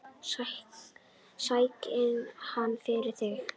Sæki hann fyrir þig.